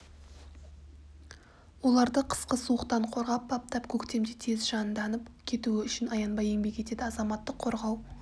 оларды қысқы суықтан қорғап баптап көктемде тез жанданып кетуі үшін аянбай еңбек етеді азаматтық қорғау